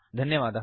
धन्यवादः